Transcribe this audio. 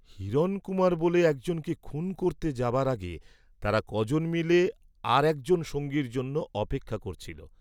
হিরণকুমার বলে একজনকে খুন করতে যাবার আগে তারা ক'জন মিলে আর একজন সঙ্গীর জন্য অপেক্ষা করছিল।